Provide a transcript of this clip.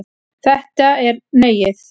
Þetta er Neiið.